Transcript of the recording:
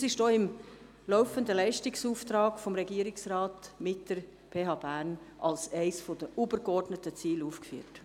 Es ist auch im laufenden Leistungsauftrag des Regierungsrates mit der PH Bern als eines der übergeordneten Ziele aufgeführt.